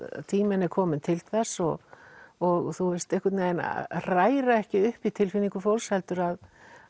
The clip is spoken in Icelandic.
tíminn er kominn til þess og og einhvern veginn hræra ekki upp í tilfinningum fólks heldur að